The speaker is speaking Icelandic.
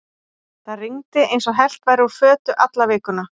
Það rigndi eins og hellt væri úr fötu alla vikuna.